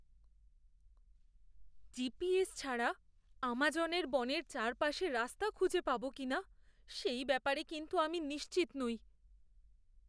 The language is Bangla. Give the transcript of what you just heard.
জিপিএস ছাড়া আমাজনের বনের চারপাশে রাস্তা খুঁজে পাবো কিনা সেই ব্যাপারে কিন্তু আমি নিশ্চিত নই।